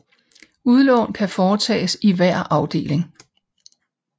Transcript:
Udlån kan foretages i hver afdeling